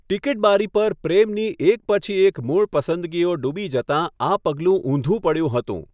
Ticket બારી પર પ્રેમની એક પછી એક મૂળ પસંદગીઓ ડૂબી જતાં આ પગલું ઊંધું પડ્યું હતું.